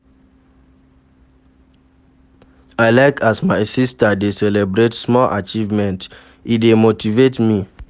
I like as my sista dey celebrate small achievement, e dey motivate me.